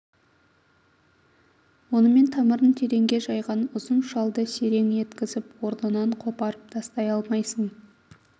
онымен тамырын тереңге жайған ұзын шалды серең еткізіп орнынан қопарып тастай алмайсың